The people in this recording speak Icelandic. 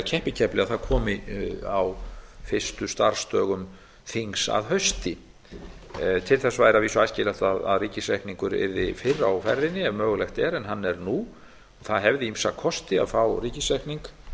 keppikefli að það komi á fyrstu starfsdögum þings að hausti til þess væri að vísu æskilegt að ríkisreikningur yrði fyrr á ferðinni ef mögulegt er en hann er nú það hefði ýmsa kosti að fá ríkisreikning